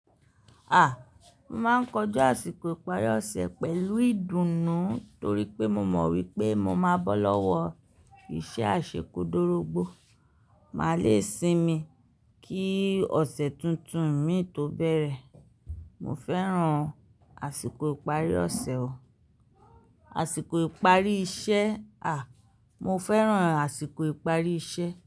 Ah! Mo máa ń kọjú àsìkò ìparí ọ̀sẹ̀ pẹ̀lú ìdùnnú torí pé mo mọ̀ wípé mo máa bọ́ lọ́wọ́ iṣẹ́ àṣekúdorógbó. Màá le sinmi kí ọ̀sẹ̀ tuntun mi tó bẹ̀rẹ̀. Mo fẹ́ràn àsìkò ìparí ọ̀sẹ̀ o. Àsìkò ìparí iṣẹ́ a, mo fẹ́ràn àsìkò ìparí iṣẹ́